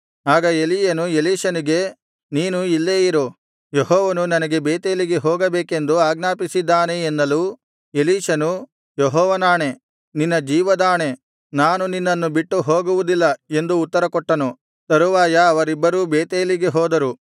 ಆಗ ಎಲೀಯನು ಎಲೀಷನಿಗೆ ನೀನು ಇಲ್ಲೇ ಇರು ಯೆಹೋವನು ನನಗೆ ಬೇತೇಲಿಗೆ ಹೋಗಬೇಕೆಂದು ಆಜ್ಞಾಪಿಸಿದ್ದಾನೆ ಎನ್ನಲು ಎಲೀಷನು ಯೆಹೋವನಾಣೆ ನಿನ್ನ ಜೀವದಾಣೆ ನಾನು ನಿನ್ನನ್ನು ಬಿಟ್ಟು ಹೋಗುವುದಿಲ್ಲ ಎಂದು ಉತ್ತರಕೊಟ್ಟನು ತರುವಾಯ ಅವರಿಬ್ಬರೂ ಬೇತೇಲಿಗೆ ಹೋದರು